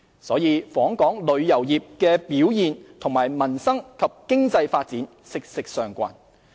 因此，訪港旅遊業的表現與民生及經濟發展息息相關。